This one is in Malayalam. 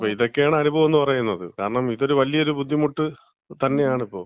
അപ്പം ഇതൊക്കെയാണ് അനുഭവം എന്ന് പറയുന്നത്. കാരണം ഇതൊരു വലിയൊരു ബുദ്ധിമുട്ട് തന്നെയാണിപ്പോ.